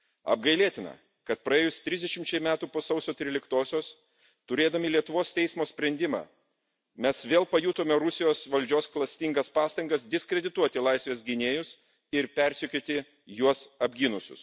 Apgailėtina, kad praėjus trisdešimčiai metų po Sausio 13 osios, turėdami Lietuvos teismo sprendimą, mes vėl pajutome Rusijos valdžios klastingas pastangas diskredituoti laisvės gynėjus ir persekioti juos apgynusius.